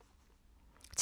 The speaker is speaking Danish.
TV 2